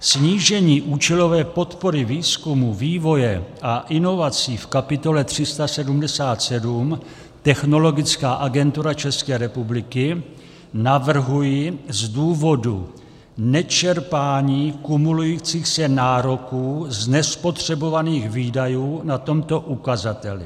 Snížení účelové podpory výzkumu, vývoje a inovací v kapitole 377 - Technologická agentura ČR navrhuji z důvodu nečerpání kumulujících se nároků z nespotřebovaných výdajů na tomto ukazateli.